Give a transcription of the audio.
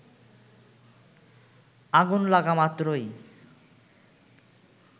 আগুন লাগা মাত্রই